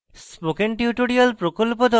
spoken tutorial প্রকল্প the